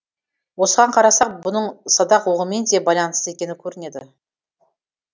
осыған қарасақ бұның садақ оғымен де байланысты екені көрінеді